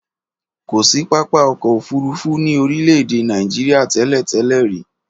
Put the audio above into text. Kọ sí pápá ọkọ ofurufu ní orìle ede naìjría tẹlẹ-tẹlẹ ri